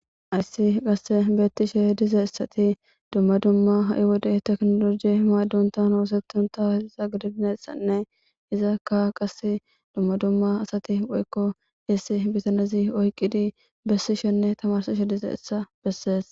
ayssi qasse beettishe dize issati dumma dumma ha7i wode teknoloji maaddunta hoosetunta iza gidibnesanne izakka qas dumma dumma asati woykko essi bitanezi oyqidi bessi shenne tamarsishe dize issa bessees